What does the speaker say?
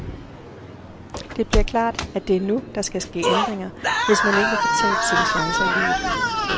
Det bliver klart, at det er nu, der skal ske ændringer, hvis man ikke vil fortabe sine chancer i livet.